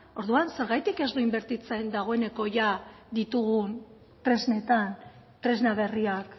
orduan zergatik ez du inbertitzen dagoeneko jada ditugun tresnetan tresna berriak